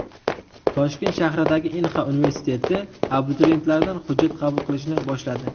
Toshkent shahridagi Inha universiteti abituriyentlardan hujjat qabul qilishni boshladi.